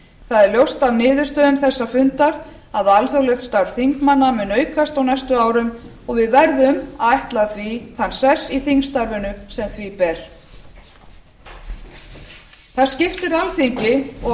það er ljóst af niðurstöðum þess fundar að alþjóðlegt starf þingmanna mun aukast á næstu árum og við verðum að ætla því þann sess í þingstarfinu sem því ber það skiptir alþingi og